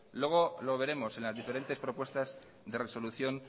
luego lo veremos en las diferentes propuestas de resolución